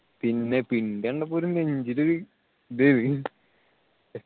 പിന്നെ പിണ്ടി കണ്ടപ്പോ ഒരു നെഞ്ചിൽ ഒരു ഇതായി